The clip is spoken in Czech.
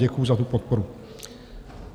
Děkuju za tu podporu.